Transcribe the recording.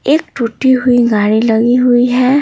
एक टूटी हुई गाड़ी लगी हुई है।